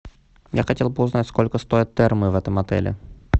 я хотел бы узнать сколько стоят термы в этом отеле